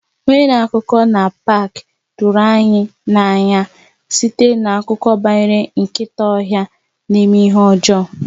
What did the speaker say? Onye na-akọ akụkọ na paak tụrụ anyị n'anya site n'akụkọ banyere nkịta ọhịa na-eme ihe ọjọọ.